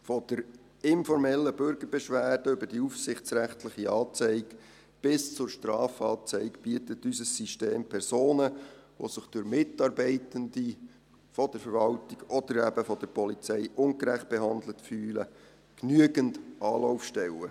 Von der informellen Bürgerbeschwerde über die aufsichtsrechtliche Anzeige bis zur Strafanzeige bietet unser System Personen, die sich von Mitarbeitenden der Verwaltung oder eben von der Polizei ungerecht behandelt fühlen, genügend Anlaufstellen.